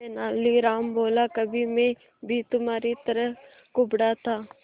तेनालीराम बोला कभी मैं भी तुम्हारी तरह कुबड़ा था